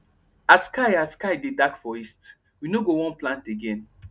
as sky as sky dey dark for east we no go wan plant again